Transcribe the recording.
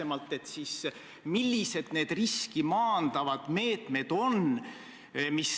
Mõnes kohas on see võib-olla isegi niisugune sisekujundusliku elemendi küsimus.